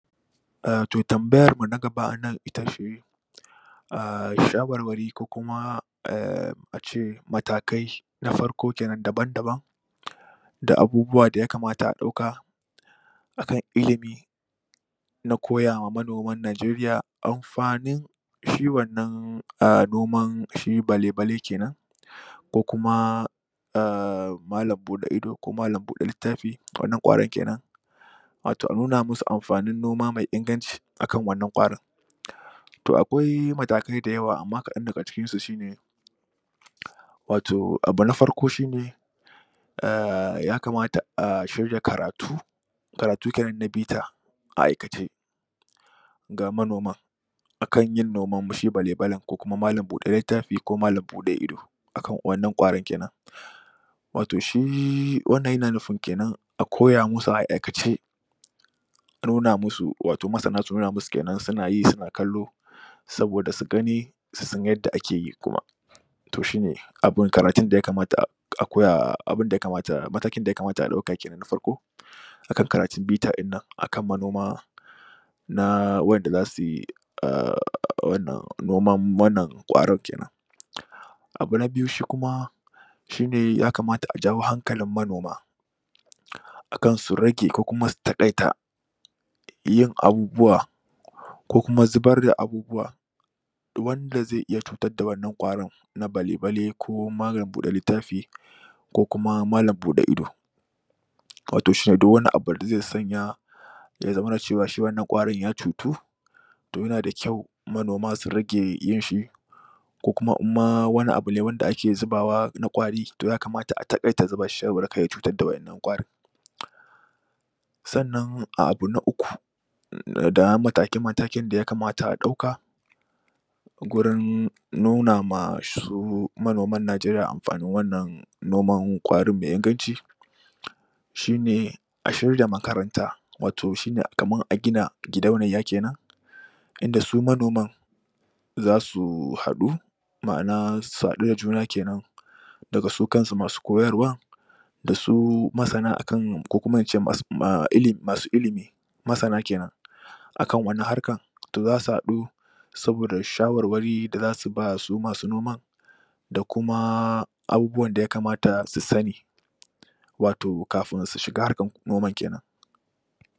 To, tambayarmu na gaba a nan ita ce um shawarwari ko kuma a ce matakai na farko ke nan, daban-daban da abubuwa da ya kamata a ɗauka a kan ilimi na koya wa manoman Najeriya amfanin shi wannan um noman shi bale-bale ke nan. Ko kuma malam-buɗe-ido ko malam-buɗe-littafi, wannan ƙwaron ke nan Watau a nuna musu amfanin noma mai inganci a kan wannan ƙwarin To akwai matakai da yawa amma kaɗan daga cikinsu shi ne watau abu na farko shi ne, um ya kamata a shirya karatu karatu ke nan da bita a aikace ga manoman a kan yin noman shi bale-balen ko kuma malam-buɗe-littafi ko malam-buɗe-ido, a kan wannan ƙwaron ke nan. Watau shi wannan yana nufin ke nan a koya musu a aikace a koya musu, watau masana su nuna musu ke nan suna yi suna kallo saboda su gani su san yadda ake yi kuma To shi ne karatun da ya kamata a koya... matakin da ya kamata a ɗauka ke nan na farko a kan karatun bita ɗin nan a kan manoma na waɗanda za su yi noman wannan ƙwaron ke nan Abu na biyus hi kuma shi ne ya kamat a jawo hankalin manoma a kan su rage ko kuma su taƙaita yin abubuwa ko kuma zubar da abubuwa wanda zai iya cutar da wannan ƙwaron na bale-bale ko malam-buɗe-littafi ko kuma malam-buɗe-ido watau duk wani abu da zai sanya ya zamana cewa shi wannan ƙwaron ya cutu to yana da kyau manoma su rage yin shi ko kuma in ma wani abu ne wanda ake zubawa na ƙwari to ya kamata a taƙaita zuba shi saboda kar ya cutar da waɗannan ƙwarin. Sannan abu na uku, mataki-matakin da ya kamata a ɗauka gurin nuna ma su manoman Najeriya amfanin wannan noman ƙwarin mai inganci shi ne, a shirya makaranta, watau shi ne kamar a gina gidauniya ke nan inda su manoman za su haɗu ma'ana su haɗu da juna ke nan daga su kansu masu koyarwar da su masana a kan, ko kuma na ce masu ilimi, masana ke nan a kan wannan harkar. To za su haɗu saboda shawarwari da za su ba wa su masu noman da kuma abubuwan da ya kamata su sani watau kafin su shiga harkar noman ke nan.